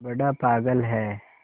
बड़ा पागल है